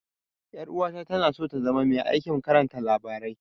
Ƴar'uwata tana so ta zama mai aikin karanta labarai.